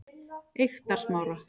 Eyktarsmára